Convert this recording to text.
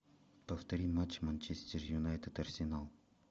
повтори матч манчестер юнайтед арсенал